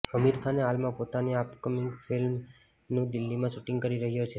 આમિર ખાને હાલમાં પોતાની અપકમિંગ ફિલ્મનું દિલ્હીમાં શૂટિંગ કરી રહ્યો છે